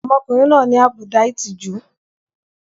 Ọmọkùnrin náà ní àbùdá ìtìjú.